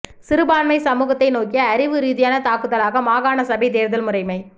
சிறுபான்மை சமூகத்தை நோக்கிய அறிவு ரீதியான தாக்குதலாக மாகாண சபைத் தேர்தல் முறைமை